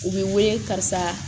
U bɛ wele karisa